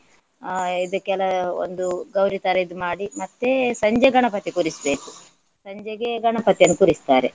ಅಹ್ ಇದಕ್ಕೆಲ್ಲ ಒಂದು ಗೌರಿ ತರ ಇದು ಮಾಡಿ ಮತ್ತೆ ಸಂಜೆ ಗಣಪತಿ ಕೂರಿಸ್ಬೇಕು. ಸಂಜೆಗೆ ಗಣಪತಿಯನ್ನು ಕೂರಿಸ್ತಾರೆ.